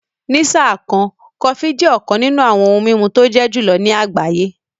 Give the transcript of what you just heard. Ní sáà kan, Kòfí jẹ́ ọ̀kàn nínú awọn ohun mimú tó jẹ́ julọ̀ ní agbáyé